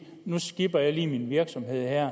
nu skipper jeg lige min virksomhed